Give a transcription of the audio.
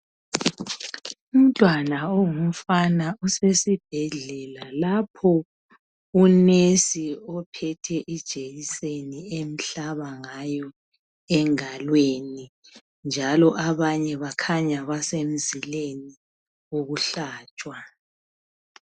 Umntwana ongumfana usesibhedlela lapho unesi ophethe ijekiseni emhlaba ngayo engalweni, njalo abanye kukhanya basemzileni wokuhlatshwa.